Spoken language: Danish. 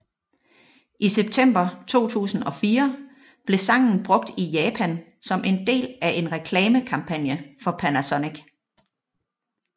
I september 2004 blev sangen brugt i Japan som del af en reklamekampagne for Panasonic